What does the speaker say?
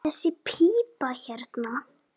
Þessi pípa hérna.